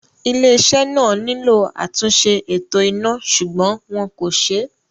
Ilé-iṣẹ́ náà nílò àtúnṣe eto iná ṣùgbọ́n wọn kò ṣe é